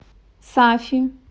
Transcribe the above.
сафи